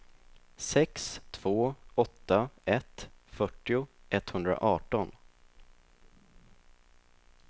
sex två åtta ett fyrtio etthundraarton